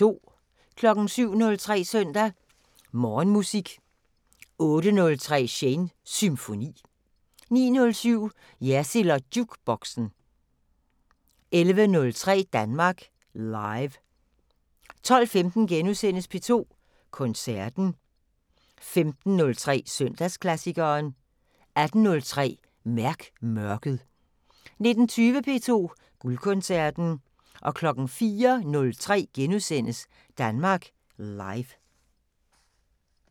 07:03: Søndag Morgenmusik 08:03: Shanes Symfoni 09:07: Jersild & Jukeboxen 11:03: Danmark Live 12:15: P2 Koncerten * 15:03: Søndagsklassikeren 18:03: Mærk mørket 19:20: P2 Guldkoncerten 04:03: Danmark Live *